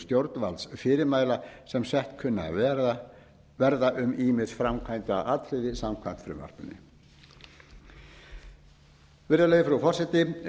stjórnvaldsfyrirmæla sem sett kunna að verða um ýmis framkvæmdaatriði samkvæmt frumvarpinu virðulegi frú forseti